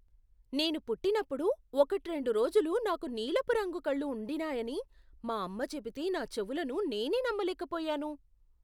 నేను పుట్టినప్పుడు ఒకట్రెండు రోజులు నాకు నీలపు రంగు కళ్ళు ఉండినాయని మా అమ్మ చెబితే నా చెవులను నేనే నమ్మలేకపోయాను.